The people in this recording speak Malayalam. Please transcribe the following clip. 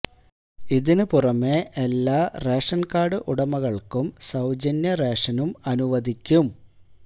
ഇതിന് പുറമെ എല്ലാ റേഷന് കാര്ഡ് ഉടമകള്ക്കും സൌജന്യം റേഷനും അനുവദിക്കും